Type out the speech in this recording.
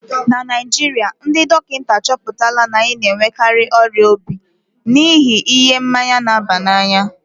na Naijiria, ndị dọkịta achọpụtala na anyị na-enwekarị ọrịa obi n'ihi ihe mmanya na-aba n'anya